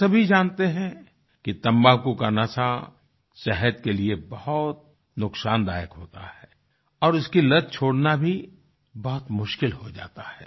हम सभी जानते हैं कि तम्बाकू का नशा सेहत के लिए बहुत नुकसानदायक होता है और उसकी लत छोड़ना भी बहुत मुश्किल हो जाता है